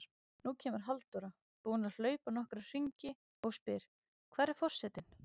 Nú kemur Halldóra, búin að hlaupa nokkra hringi, og spyr: Hvar er forsetinn?